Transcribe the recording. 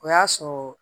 O y'a sɔrɔ